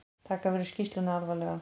Taka verður skýrsluna alvarlega